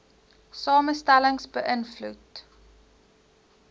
samestelling be ïnvloed